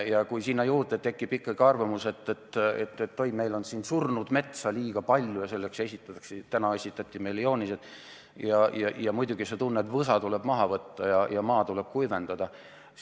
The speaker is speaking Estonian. Ja kui tekib ikkagi arvamus, et oi, meil on surnud metsa liiga palju, ja kui selle tõestamiseks esitatakse, nii nagu tänagi esitati, joonised, siis muidugi sa tunned, et võsa tuleb maha võtta ja maa tuleb kuivendada.